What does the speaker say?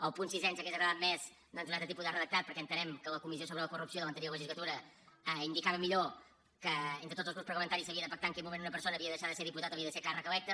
al punt sisè ens hauria agradat més doncs un altre tipus de redactat perquè entenem que la comissió sobre la corrupció de l’anterior legislatura indicava millor que entre tots els grups parlamentaris s’havia de pactar en quin moment una persona havia de deixar de ser diputat o havia de ser càrrec electe